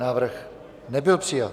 Návrh nebyl přijat.